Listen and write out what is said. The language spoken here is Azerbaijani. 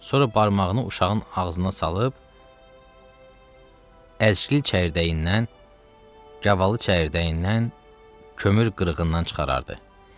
Sonra barmağını uşağın ağzına salıb əzgil çəyirdəyindən, gavalı çəyirdəyindən, kömür qırığından çıxarardı.